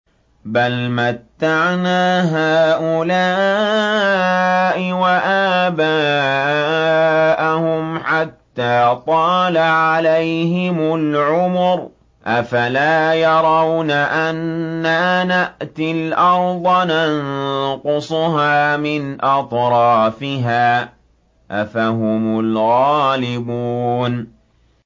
بَلْ مَتَّعْنَا هَٰؤُلَاءِ وَآبَاءَهُمْ حَتَّىٰ طَالَ عَلَيْهِمُ الْعُمُرُ ۗ أَفَلَا يَرَوْنَ أَنَّا نَأْتِي الْأَرْضَ نَنقُصُهَا مِنْ أَطْرَافِهَا ۚ أَفَهُمُ الْغَالِبُونَ